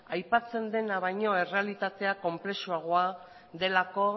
aipatzen dena baino errealitatea konplexuagoa delako